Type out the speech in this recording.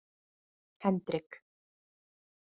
Hendrik